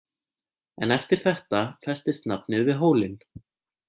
En eftir þetta festist nafnið við hólinn.